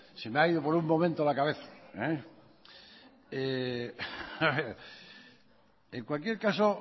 se me ha ido por un momento la cabeza en cualquier caso